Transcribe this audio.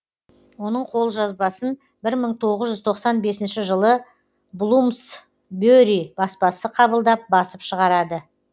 оның қолжазбасын бір мың тоғыз жүз тоқсан бесінші жылы блумсбе ри баспасы қабылдап басып шығарады